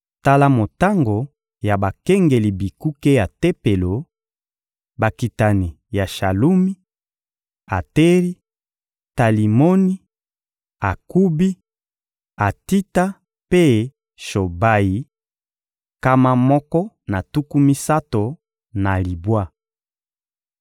Tala motango ya bakengeli bikuke ya Tempelo: Bakitani ya Shalumi, Ateri, Talimoni, Akubi, Atita mpe Shobayi: nkama moko na tuku misato na libwa.